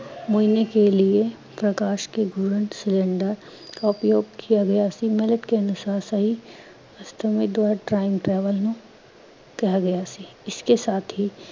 ਇਸਕੇ ਸਾਥ ਹੀ ਮਹੀਨੇ ਕੇ ਲਿਏ ਪ੍ਕਾਸ਼ ਕੇ ਗੁਣ ਕਾ ਉਪਯੋਗ ਕੀਆ ਗਿਆ ਸੀ। ਮਦਦ ਕੇ ਅਨੁਸਾਰ ਸਹੀ time travel ਨੂੰ ਕਿਹਾ ਗਿਆ ਸੀ